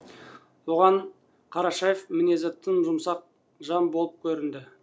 оған қарашаев мінезі тым жұмсақ жан болып көрінді